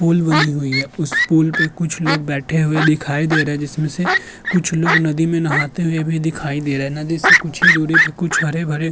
Pool बनी हुई है। उस पूल पे कुछ लोग बैठे हुए दिखाई दे रहें है जिसमे से कुछ लोग नदी मे नहाते हुए भी दिखाई दे रहें हैं। नदी से कुछ ही दूरी से कुछ हरे भरे --